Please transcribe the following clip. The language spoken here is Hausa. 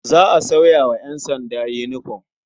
Za a sauya wa ƴansanda yinifom.